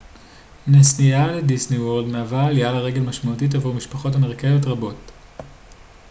נסיעה לדיסניוורלד מהווה עליה לרגל משמעותית עבור משפחות אמריקאיות רבות